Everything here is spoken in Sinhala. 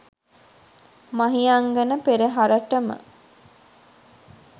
මහියංගන පෙරහරටම